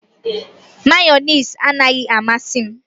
Mayọnais anaghị amasị m